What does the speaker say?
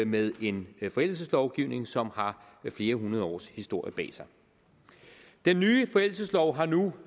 med en forældelselovgivning som har flere hundrede års historie bag sig den nye forældelseslov har nu